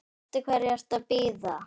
Eftir hverju ertu að bíða?